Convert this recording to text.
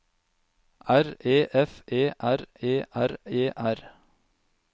R E F E R E R E R